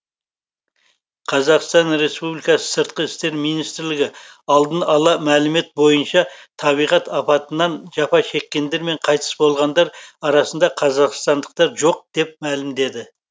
қазақстан республикасы сыртқы істер министрлігі алдын ала мәлімет бойынша табиғат апатынан жапа шеккендер мен қайтыс болғандар арасында қазақстандықтар жоқ деп мәлімдеді